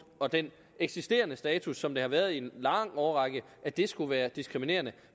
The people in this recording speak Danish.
og den eksisterende status som den har været i en lang årrække skulle være diskriminerende